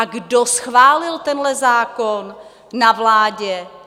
A kdo schválil tenhle zákon na vládě?